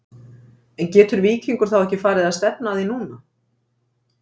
En getur Víkingur þá ekki farið að stefna að því núna?